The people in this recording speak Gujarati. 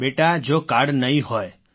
બેટા જો કાર્ડ નહીં હોય